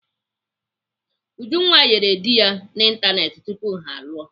Ujunwa yịrị dị ya n'Ịntanetị tupu ha alụọ.